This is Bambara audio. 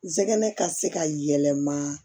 Zɛgɛnɛ ka se ka yɛlɛma